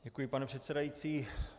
Děkuji, pane předsedající.